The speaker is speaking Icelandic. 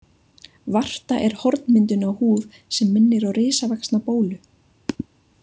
Varta er hornmyndun á húð sem minnir á risavaxna bólu.